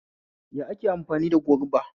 Ya ake amfani da goruba?